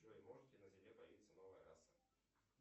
джой может ли на земле появиться новая раса